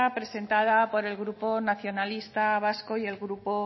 presentada por el grupo nacionalista vasco y el grupo